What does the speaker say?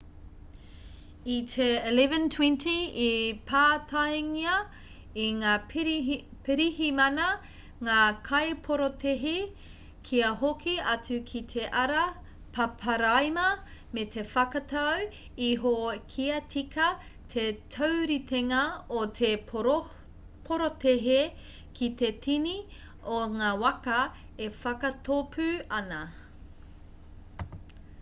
i te 11.20 i pātaingia e ngā pirihimana ngā kaiporotēhi kia hoki atu ki te ara paparaima me te whakatau iho kia tika te tauritenga o te porotēhi ki te tini o ngā waka e whakatōpu ana